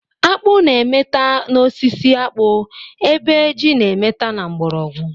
Akpụ na-emeta n'osisi akpụ ebe ji na-emeta na mgbọrọgwọ.